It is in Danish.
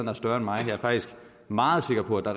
er større end mig jeg er faktisk meget sikker på at der